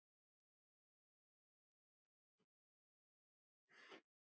Lóa var góð kona.